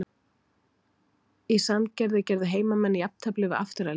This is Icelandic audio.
Í Sandgerði gerðu heimamenn jafntefli við Aftureldingu.